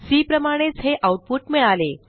C प्रमाणेच हे output मिळाले